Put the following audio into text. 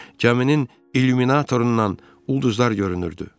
Gəminin illuminatorundan ulduzlar görünürdü.